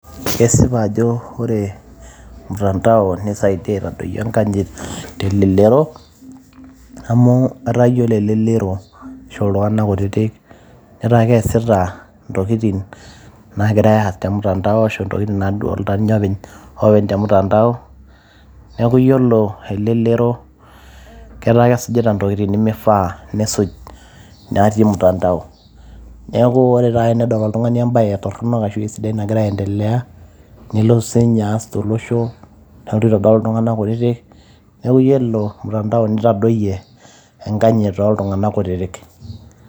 kesipa ajo ore mtandao nisaidia aitadoyio enkanyit telelero amu etaa yiolo elelero ashu iltung'anak kutitik netaa keesita intokitin nagirae aas te mtandao ashu intokitin nadolta ninye openy te mtandao neeku yiolo elelero ketaa kesujita intokitin nemifaa nesuj natii mtandao neeku ore taata tenedol oltung'ani embaye torronok ashu esidai nagira aendelea nelotu sinye aas tolosho nelotu aitodol iltung'anak kutitik neeku yiolo mtandao nitadoyie enkanyit toltung'anak kutitik.